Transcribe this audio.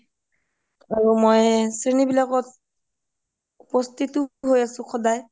আৰু মই শ্ৰেণীবিলাকত উপস্থিতয়ো হৈয়ো আছোঁ সদাই ভাল লাগে